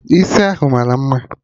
Isi ahụ mara mma